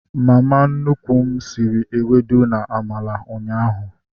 Mama nnukwu m sịrị ewedu na amala ụnyaahụ